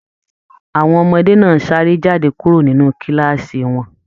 Àwọn ọmọdé náà sáré jáde kúrò nínú kàlàásí wọn.